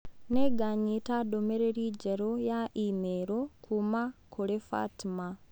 Nĩnganyita ndũmĩrĩri njerũ ya i-mīrū kuuma kũrĩ Fatma